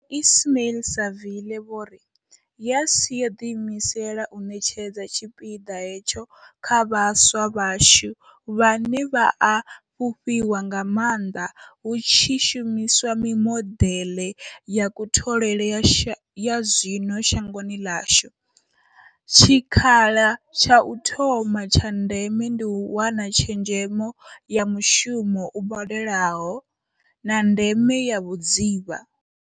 Ismail-Saville vho ri, YES yo ḓiimisela u ṋetshedza tshipiḓa hetsho kha vhaswa vhashu, vhane vha a fhufhiwa nga maanḓa hu tshi shumiswa mimodeḽe ya kutholele ya zwino shangoni ḽashu, tshikhala tsha u thoma tsha ndeme ndi u wana tshezhemo ya mushumo u badelaho, na ndeme ya vhudzivha.